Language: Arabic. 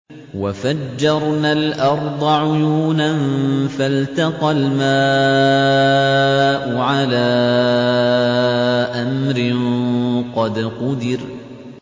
وَفَجَّرْنَا الْأَرْضَ عُيُونًا فَالْتَقَى الْمَاءُ عَلَىٰ أَمْرٍ قَدْ قُدِرَ